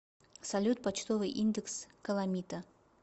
салют почтовый индекс каламита